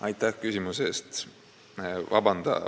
Aitäh küsimuse eest!